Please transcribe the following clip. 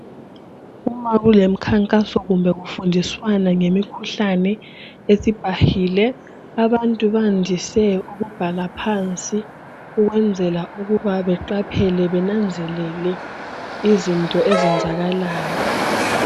Uma kulemikhankaso kumbe kufundiswano ngemikhuhlane esibhahile abantu bandise ukubhala phansi ukwenzela ukuba beqaphele kumbe benanzelele izinto ezenzakalayo.